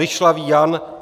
Ryšlavý Jan